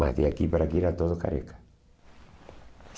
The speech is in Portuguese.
Mas de aqui para aqui era todo careca.